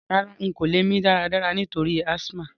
Rárá, n ko lẹ́ mí dáradára nítorí asthma